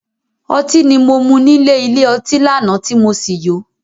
Otí ni mo mú nílè ilé ọtí lánàá tí mo sì yó.